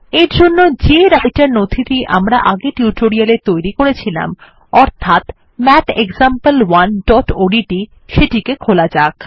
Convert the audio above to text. এরজন্য যে রাইটের নথিটি আমরা আগের টিউটোরিয়ালে তৈরী করেছিলাম অর্থাৎ mathexample1ওডিটি সেটিকে খোলা যাক